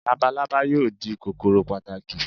Labalábá yóò di kòkòrò pàtàkì